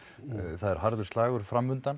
það er harður slagur